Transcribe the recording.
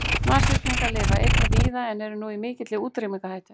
Nashyrningar lifa einnig víða en eru nú í mikilli útrýmingarhættu.